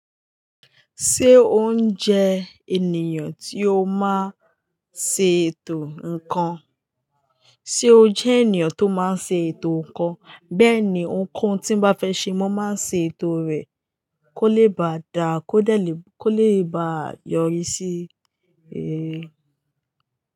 Ṣé ó ń jẹ ènìyàn tí ó máa ń ṣe ètò ǹkan? Ṣé ó jẹ́ ènìyàn tó máa ń ṣe ètò ǹkan? Bẹ́ẹ̀ni, ohunkohun tí mo bá fẹ́ ṣe, mo máa ń ṣe ètò rẹ̀ kó lè bá dá, kó lè bá yọrí sí réré.